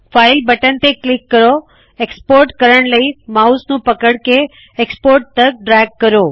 file button ਤੇ click ਕਰੋ export ਕਰਣੇ ਲਈ ਮਾਉਸ ਨੂੰ ਪਕੜ ਕੇ ਐਕਸਪੋਰਟ ਤਕ ਡ੍ਰੈਗ ਕਰੋ